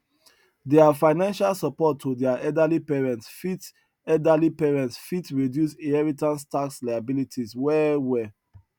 their financial support to their elderly parents fit elderly parents fit reduce inheritance tax liabilities well well